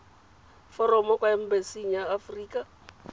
foromo kwa embasing ya aforika